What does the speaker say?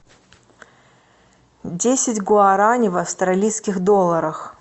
десять гуарани в австралийских долларах